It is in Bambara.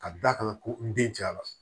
Ka d'a kan ko n den cayara